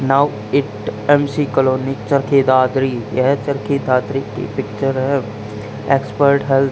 now it MC colony Charkhi Dadri यह चरखी दादरी की picture है एक्सपर्ट हेल्थ --